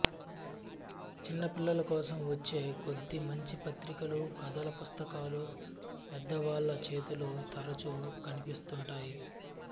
చిన్నపిల్లలకోసం వచ్చే కొద్ది మంచి పత్రికలూ కథల పుస్తకాలూ పెద్దవాళ్ల చేతుల్లో తరచూ కనిపిస్తుంటాయి